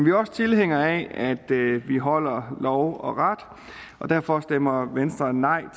er også tilhængere af at vi holder lov og ret og derfor stemmer venstre nej